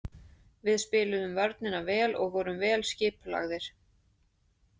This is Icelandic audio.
Við spiluðum vörnina vel og vorum vel skipulagðir.